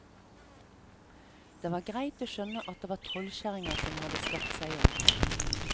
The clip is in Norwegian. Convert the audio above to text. Det var greit å skjønne at det var trollkjerringer som hadde skapt seg om.